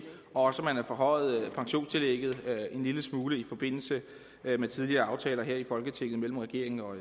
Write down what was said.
og også man har forhøjet pensionstillægget en lille smule i forbindelse med tidligere aftaler her i folketinget mellem regeringen og